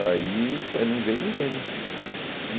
Aí, não veio, não veio, né? Uhum